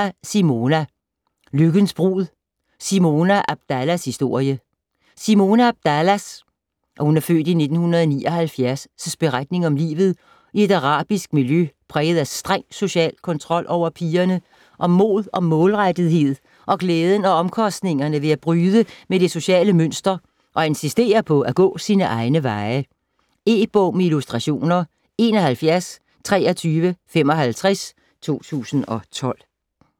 99.4 Abdallah, Simona Abdallah, Simona: Lykkens brud: Simona Abdallahs historie Simona Abdallahs (f. 1979) beretning om livet i et arabisk miljø præget af streng social kontrol over pigerne, om mod og målrettethed og glæden og omkostningerne ved at bryde med det sociale mønster og insistere på at gå sine egne veje. E-bog med illustrationer 712355 2012.